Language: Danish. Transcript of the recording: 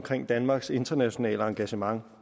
danmarks internationale engagement